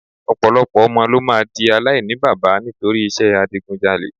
Ọ̀pọ̀lọpọ̀ ọmọ ló máa di aláìníbaba nítorí iṣẹ́ adigunjalè